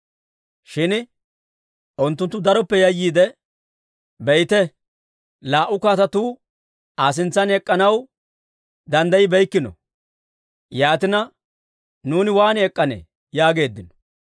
Shin unttunttu daroppe yayyiide, «Be'ite, laa"u kaatetuu Aa sintsan ek'k'anaw danddayibeykkino! Yaatina nuuni waan ek'k'anee?» yaageeddino.